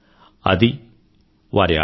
ఇది వారి ఆచారం